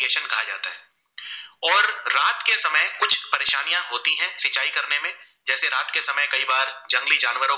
परेशानिया होती है सिंचाई करने में जेसे रात के समय में कई बार जंगली जानवरों